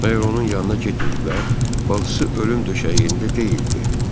Bəyər onun yanına getməyiblər, bacısı ölüm döşəyində deyildi.